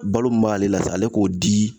Balo min b'ale la sa ale k'o di